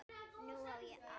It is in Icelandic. Nú á ég allt.